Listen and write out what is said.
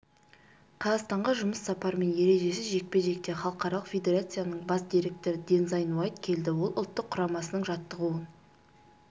қазақстанға жұмыс сапарымен ережесіз жекпе-жектен халықаралық федерацияның бас директоры дензайн уайт келді ол ұлттық құрамасының жаттығуын